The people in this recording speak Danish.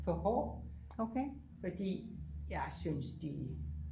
for hård fordi jeg synes de